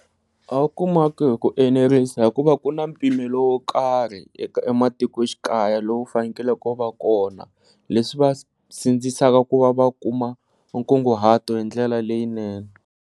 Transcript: A wu kumaki hi ku enerisa hikuva ku na mpimelo wo karhi ematikoxikaya lowu fanekele u va kona, leswi swi va sindzisaka ku va va kuma nkunguhato hi ndlela leyinene.